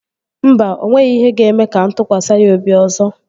Mba, o nweghị ihe ga-eme ka mụ tụkwasị ya obi ọzọ